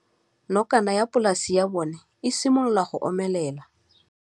Nokana ya polase ya bona, e simolola go omelela.